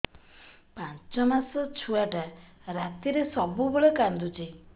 ପାଞ୍ଚ ମାସ ଛୁଆଟା ରାତିରେ ସବୁବେଳେ କାନ୍ଦୁଚି